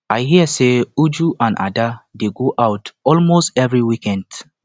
i hear say uju and ada dey go out almost every weekend